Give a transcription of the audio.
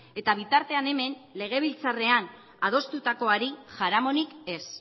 eta bitartean hemen legebiltzarrean adostutakoari jaramonik ez